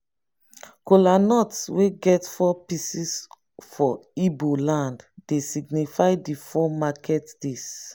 kolanut wey get four pieces for igbo land dey signify di four market days.